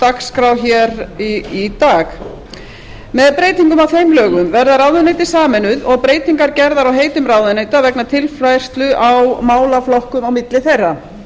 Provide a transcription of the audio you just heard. dagskrá í dag með breytingum á þeim lögum verða ráðuneytin sameinuð og breytingar gerðar á heitum ráðuneyta vegna tilfærslu á málaflokkum á milli þeirra